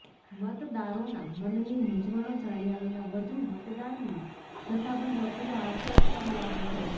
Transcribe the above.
મતદારોના મનની મૂંઝવણો જાણ્યા વિના વધુ મતદાનની જથ્થાબંધ અપીલો હાસ્યાસ્પદ લાગે છે